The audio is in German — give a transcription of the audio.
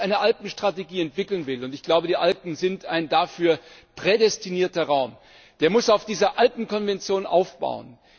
Wer jetzt eine Alpenstrategie entwickeln will und ich glaube, die Alpen sind ein dafür prädestinierter Raum der muss auf dieser Alpenkonvention aufbauen.